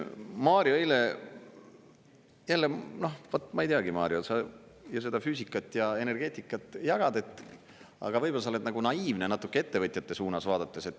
Mario eile jälle, noh, vot ma ei teagi, Mario, sa ju seda füüsikat ja energeetikat jagad, aga võib-olla sa oled nagu naiivne natuke ettevõtjate suunas vaadates.